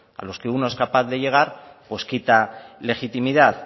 a los que uno es capaz de llegar pues quita legitimidad